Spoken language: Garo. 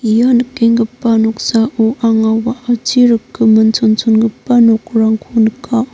ia nikenggipa noksao anga wa·achi rikgimin chonchongipa nokrangko nika.